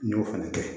N y'o fana kɛ